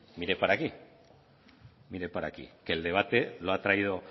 mire para aquí que el debate lo ha traído